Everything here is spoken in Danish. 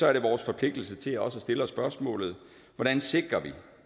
er det vores forpligtelse også at stille spørgsmålet hvordan sikrer